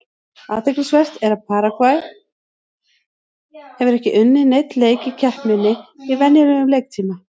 Athyglisvert er að Paragvæ hefur ekki unnið neinn leik í keppninni í venjulegum leiktíma.